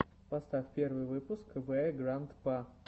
поставь первый выпуск вэграндпа